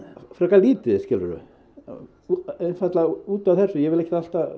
frekar lítið skilur þú einfaldlega út af þessu ég vil ekki